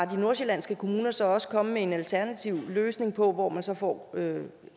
de nordsjællandske kommuner så også kommet med en alternativ løsning på hvor man så får